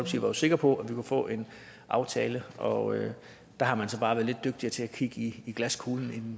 jo sikker på at vi kunne få en aftale og der har man så bare været lidt dygtigere til at kigge i glaskuglen end